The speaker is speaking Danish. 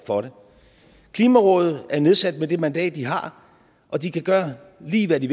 for det klimarådet er nedsat med det mandat de har og de kan gøre lige hvad de